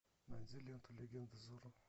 найди ленту легенда зорро